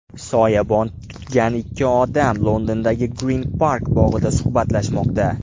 Soyabon tutgan ikki odam, Londondagi Grin Park bog‘ida suhbatlashmoqda.